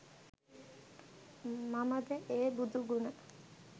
මමද ඒ බුදු ගුණ